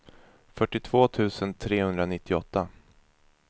fyrtiotvå tusen trehundranittioåtta